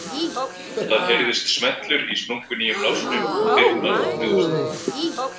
Það heyrðist smellur í splunkunýjum lásnum og dyrnar opnuðust.